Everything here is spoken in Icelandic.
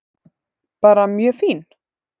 Bara mjög fín.